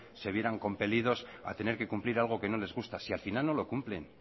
se vieran compelidos a tener que cumplir algo que no les gusta si al final no lo cumplen